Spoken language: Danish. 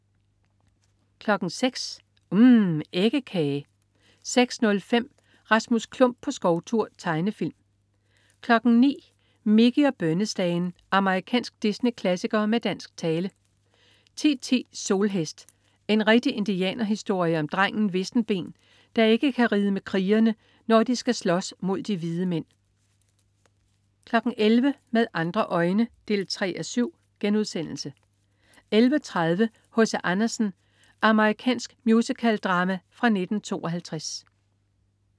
06.00 UMM. Æggekage 06.05 Rasmus Klump på skovtur. Tegnefilm 09.00 Mickey og bønnestagen. Amerikansk Disney-klassiker med dansk tale 10.10 Solhest. En rigtig indianerhistorie om drengen Vissenben, der ikke kan ride med krigerne, når de skal slås mod de hvide mænd 11.00 Med andre øjne 3:7* 11.30 H.C. Andersen. Amerikansk musicaldrama fra 1952